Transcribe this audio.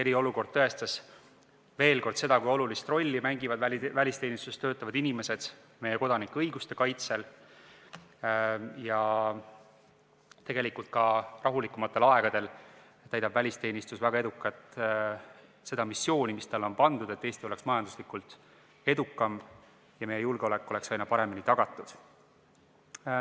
Eriolukord näitas veel kord seda, kui olulist rolli mängivad välisteenistuses töötavad inimesed meie kodanikuõiguste kaitsel, aga ka rahulikumatel aegadel täidab välisteenistus väga edukalt seda missiooni, mis talle on pandud: et Eesti oleks majanduslikult edukas ja meie julgeolek oleks aina paremini tagatud.